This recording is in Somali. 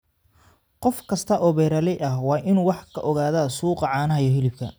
Qof kasta oo beeraley ah waa inuu wax ka ogaadaa suuqa caanaha iyo hilibka.